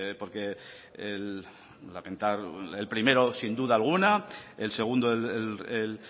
porque lamentar el primero sin duda alguna el segundo el